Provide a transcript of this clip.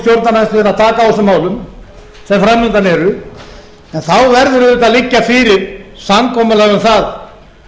taka á þessum málum sem framundan eru en þá verður auðvitað að liggja fyrir samkomulag um það